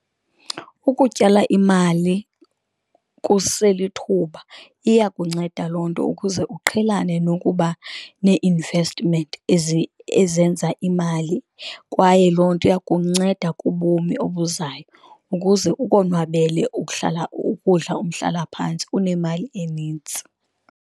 Ukutyala imali kuselithuba iyakunceda loo nto ukuze uqhelene nokuba nee-investment ezenza imali, kwaye loo nto iyakunceda kubomi obuzayo ukuze ukonwabele ukudla umhlalaphantsi unemali enintsi.